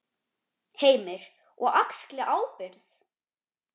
Heimir: Og axli ábyrgð?